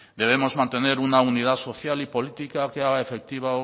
debemos mantener una unidad social y política que haga efectivo